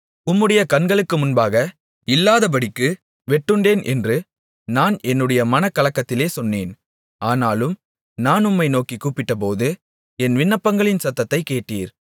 உம்முடைய கண்களுக்கு முன்பாக இல்லாதபடிக்கு வெட்டுண்டேன் என்று நான் என்னுடைய மனக்கலக்கத்திலே சொன்னேன் ஆனாலும் நான் உம்மை நோக்கிக் கூப்பிட்டபோது என் விண்ணப்பங்களின் சத்தத்தைக் கேட்டீர்